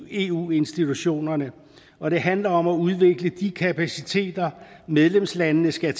eu institutionerne og det handler om at udvikle de kapaciteter medlemslandene skal